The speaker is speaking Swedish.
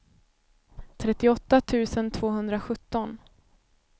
trettioåtta tusen tvåhundrasjutton